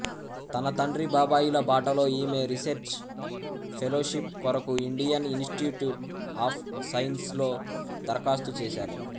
తన తండ్రి బాబాయిల బాటలో ఈమె రీసెర్చ్ ఫెలోషిప్ కొరకు ఇండియన్ ఇనిస్టిట్యూట్ ఆఫ్ సైన్స్లో దరఖాస్తు చేశారు